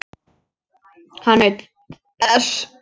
Hann naut þess.